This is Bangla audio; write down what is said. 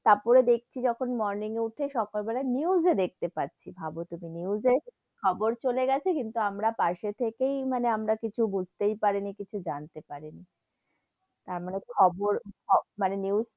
তার পরে দেখসি যখন morning এ উঠে সকাল বেলায় news এ দেখতে পাচ্ছি, ভাব তুমি news এ খবর চলে গেছে, কিন্তু আমরা পাসে থেকেই মানে আমরা কিছু বুঝতেই পারি নি কিছু জানতে পারি নি, তার মানে খবর মানে news.